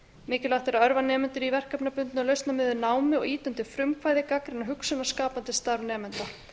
mikilvægt er að örva nemendur í verkefnabundnu og lausnamiðuðu námi og ýta undir frumkvæði gagnrýna hugsun og skapandi starf nemenda